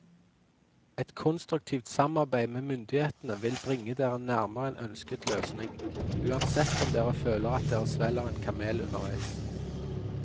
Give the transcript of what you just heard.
Et konstruktivt samarbeid med myndighetene vil bringe dere nærmere en ønsket løsning, uansett om dere føler at dere svelger en kamel underveis.